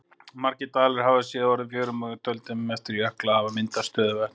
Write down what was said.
Margir dalirnir hafa síðar orðið að fjörðum og í dældum eftir jökla hafa myndast stöðuvötn.